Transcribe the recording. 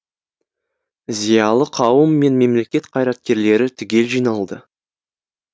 зиялы қауым мен мемлекет қайраткерлері түгел жиналды